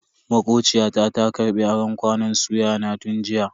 Makociya ta ta karbi aron kwanon suya na tun jiya.